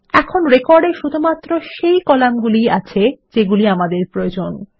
এখন রেকর্ড এ শুধুমাত্র সেই কলামগুলি ই আছে সেগুলি আমাদের প্রয়োজন